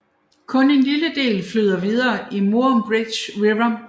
Kun en lille del flyder videre i Murrumbidgee River